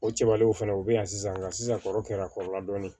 O cɛbalenw fɛnɛ u be yan sisan kɔrɔla dɔɔni